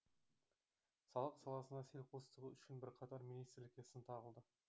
салық саласына селқостығы үшін бірқатар министрлікке сын тағылды